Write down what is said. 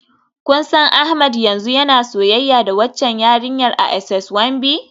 Kun san Ahmed yanzu yana soyayya da waccan yarinyar a SS One B?